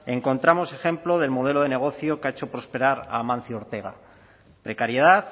encontramos ejemplo del modelo de negocio que ha hecho prosperar amancio ortega precariedad